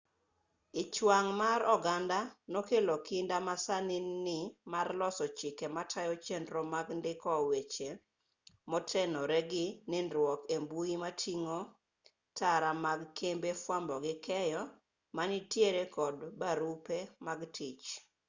ich wang' mar oganda nokelo kinda masani ni mar loso chike matayo chenro mag ndiko weche motenore gi nindruok e mbui moting'o tara mag kembe fwambo gi keyo manitiere kod barupe mag tich